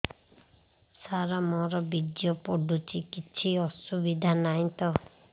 ସାର ମୋର ବୀର୍ଯ୍ୟ ପଡୁଛି କିଛି ଅସୁବିଧା ନାହିଁ ତ